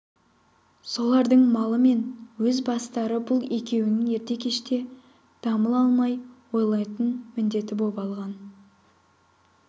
солардың малы мен өз бастары бұл екеуінің ерте-кеште дамыл алмай ойлайтын міндеті боп алған